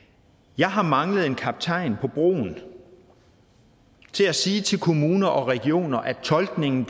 jeg har manglet en kaptajn på broen til at sige til kommuner og regioner at tolkningen